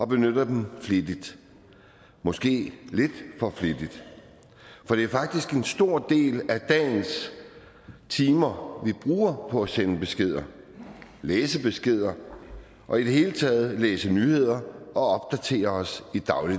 benytter dem flittigt måske lidt for flittigt for det er faktisk en stor del af dagens timer vi bruger på at sende beskeder læse beskeder og i det hele taget læse nyheder og opdatere os